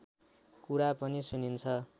कुरा पनि सुनिन्छ